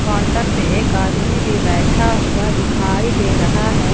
Counter पर एक आदमी भी बैठा हुआ दिखाई दे रहा है।